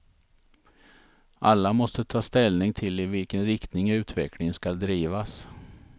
Alla måste ta ställning till i vilken riktning utvecklingen skall drivas.